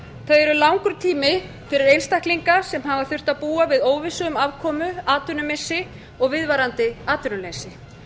eru langur tími fyrir einstaklinga sem hafa þurft að búa við óvissu um afkomu atvinnumissi og viðvarandi atvinnuleysi